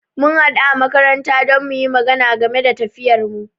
mun haɗu a makaranta don muyi magana game da tafiyarmu.